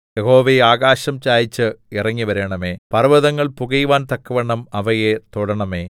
യഹോവേ ആകാശം ചായിച്ച് ഇറങ്ങിവരണമേ പർവ്വതങ്ങൾ പുകയുവാൻ തക്കവണ്ണം അവയെ തൊടണമേ